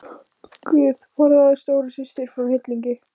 GUÐ forðaðu stóru systur frá hryllingi.